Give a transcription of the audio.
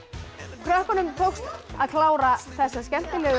krökkunum tókst að klára þessa skemmtilegu